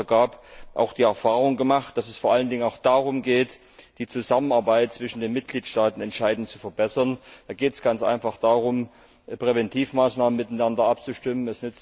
gab, auch die Erfahrung gemacht, dass es vor allen Dingen darum geht, die Zusammenarbeit zwischen den Mitgliedstaaten entscheidend zu verbessern. Da geht es ganz einfach darum, Präventivmaßnahmen miteinander abzustimmen.